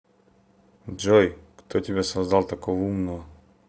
джой кто тебя создал такого умного